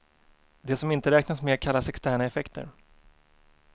Det som inte räknas med kallas externa effekter.